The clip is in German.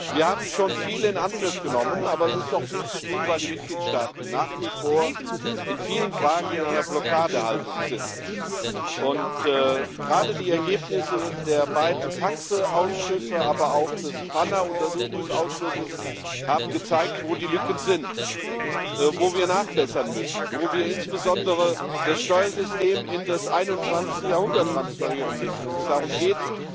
Wir haben schon viel in Angriff genommen, aber es gibt noch viel zu tun, weil die Mitgliedstaaten nach wie vor in vielen Fragen in einer Blockadehaltung sind. Gerade die Ergebnisse der beiden TAXE Ausschüsse, aber auch des PANA Untersuchungsausschusses haben gezeigt, wo die Lücken sind, wo wir nachbessern müssen, wo wir insbesondere das Steuersystem in das 21. Jahrhundert transferieren müssen, wenn es darum geht,